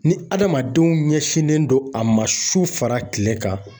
Ni adamadenw ɲɛsinnen don a ma sufa kile kan.